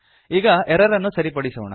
ಈಗ ಎರರ್ ಅನ್ನು ಸರಿಪಡಿಸೋಣ